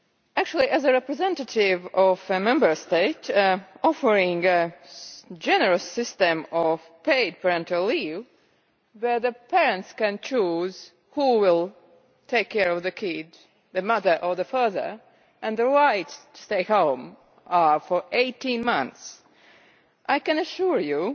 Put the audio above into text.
Actually, as a representative of a Member State offering a generous system of paid parental leave where the parents can choose who will take care of the child the mother or the father and the rights to stay home are for 18 months, I can assure you